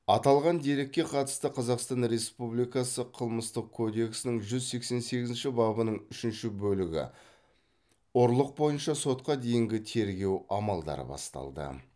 аталған дерекке қатысты қазақстан республикасы қылмыстық кодексінің жүз сексен сегізінші бабының үшінші бөлігі ұрлық бойынша сотқа дейінгі тергеу амалдары басталды